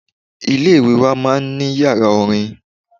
Ilé-ìwé wa máa n ní yàrá orin